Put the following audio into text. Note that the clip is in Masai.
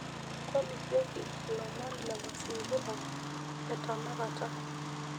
tolikioki ilomon le mazingira ee tenakata